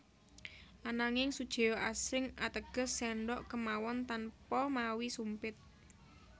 Ananging sujeo asring ateges séndhok kemawon tanpa mawi sumpit